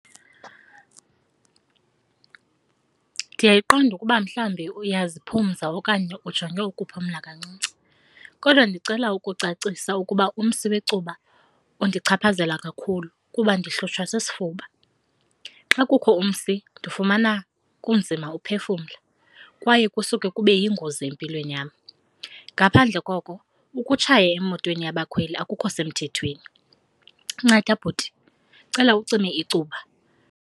Ndiyayiqonda ukuba mhlawumbi uyaziphumza okanye ujonge ukuphumla kancinci kodwa ndicela ukucacisa ukuba umsi wecuba undichaphazela kakhulu kuba ndihlutshwa sisifuba. Xa kukho umsi ndifumana kunzima uphefumla kwaye kusuke kube yingozi empilweni yam. Ngaphandle koko ukutshaya emotweni yabakhweli akukho semthethweni. Nceda bhuti, ndicela ucime icuba.